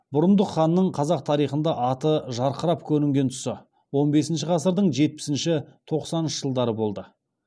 бұрындық ханның қазақ тарихында аты жарқырап көрінген тұсы он бесінші ғасырдың жетпісінші тоқсаныншы жылдары болды